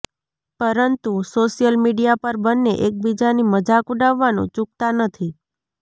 પરંતુ social media પર બન્ને એકબીજાની મજાક ઉડાવવાનું ચુકતા નથી